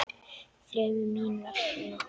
Þremur. mín vegna.